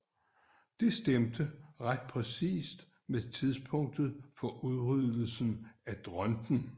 Det stemte ret præcist med tidspunktet for udryddelsen af dronten